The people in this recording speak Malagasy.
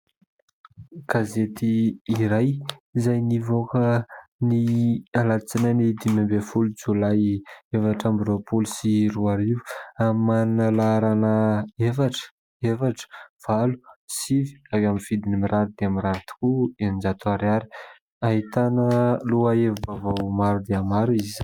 Gazety iray izay nivoaka ny alatsinainy dimy ambin'ny jolay, efatra amby roapolo sy roa arivo, ary manana ny laharana : efatra, efatra, valo, sivy ; ary amin'ny vidiny mirary dia mirary tokoa, eninjato ariary. Ahitana lohahevi-baovao maro dia maro izy.